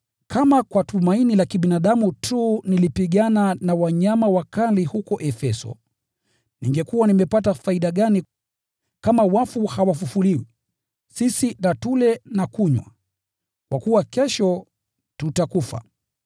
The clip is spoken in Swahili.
Kama kwa sababu za kibinadamu tu nilipigana na wanyama wakali huko Efeso, ningekuwa nimepata faida gani? Kama wafu hawafufuliwi, “Tuleni na kunywa, kwa kuwa kesho tutakufa.”